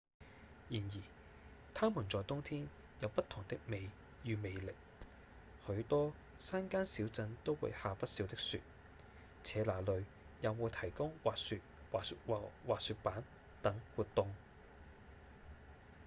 然而它們在冬天有不同的美與魅力許多山間小鎮都會下不少的雪且那裡也會提供滑雪和滑雪板等活動